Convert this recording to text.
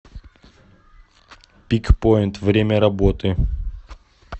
пикпойнт время работы